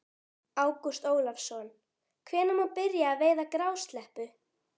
Ágúst Ólafsson: Hvenær má byrja að veiða grásleppu?